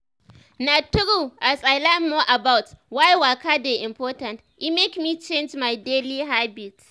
na true as i learn more about why waka dey important e make me change my daily habits.